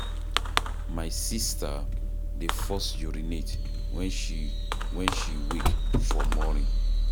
My sista dey first urinate wen she, wen she wake for morning.